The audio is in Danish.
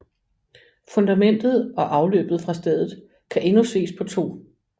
Fundamentet og afløbet fra stedet kan endnu ses på 2